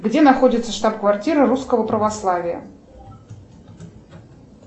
где находится штаб квартира русского православия